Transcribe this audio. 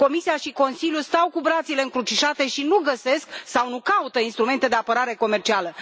Comisia și Consiliul stau cu brațele încrucișate și nu găsesc sau nu caută instrumente de apărare comercială.